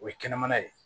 O ye kɛnɛmana ye